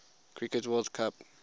cricket world cup